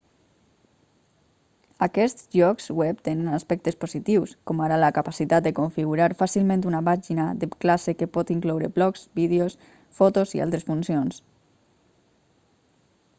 aquests llocs web tenen aspectes positius com ara la capacitat de configurar fàcilment una pàgina de classe que pot incloure blogs vídeos fotos i altres funcions